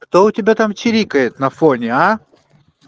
кто у тебя там чирикает на фоне а